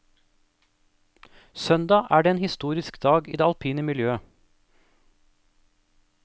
Søndag er den en historisk dag i det alpine miljøet.